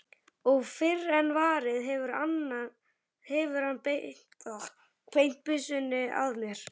Og fyrr en varir hefur hann beint byssunni að mér.